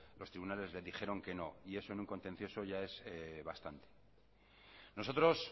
los tribunales le dijeron que no y eso en un contencioso ya es bastante nosotros